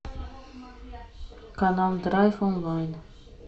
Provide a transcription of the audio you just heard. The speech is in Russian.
канал драйв онлайн